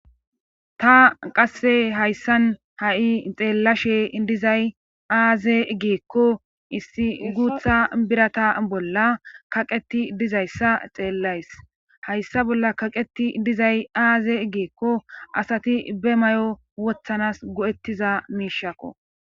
Ta qasse hayssan ha'i xeellashe dizay aaze geekko issi guutha birata bolla kaqeti dizayssa xeellays hayssa bolla kaqeti dizay aaze geekko asati be may'o wothanas go'ettiza miishakko.